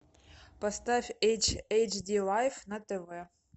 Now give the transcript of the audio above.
поставь эйч ди лайв на тв